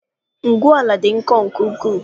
Ngwu ala dị nkọ nke ukwuu.